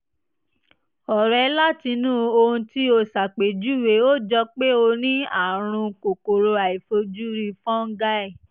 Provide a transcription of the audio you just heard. ọ̀rẹ́ látinú ohun tí o ṣàpèjúwe ó jọ pé o ní àrùn kòkòrò àìfojúrí fọ́nńgáì